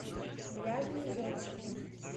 пляжные зонтики